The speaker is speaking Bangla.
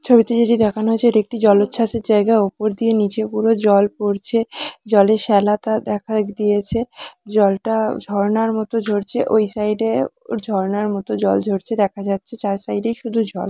ছবিতে যেটি দেখানো হয়েছে একটি জলোচ্ছ্বাস এর জায়গা। উপর দিয়ে নিচে পুরো জল পড়ছে জলে শ্যাওলাতা দেখা দিয়েছে জলটা ঝরনার মতো ঝরছে ওই সাইড এ ওর ঝরনার মত জল ঝরছে দেখা যাচ্ছে চার সাইড এ শুধু জল।